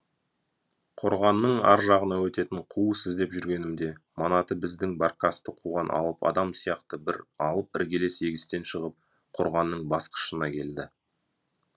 қорғанның аржағына өтетін қуыс іздеп жүргенімде манаты біздің баркасты қуған алып адам сияқты бір алып іргелес егістен шығып қорғанның басқышына келді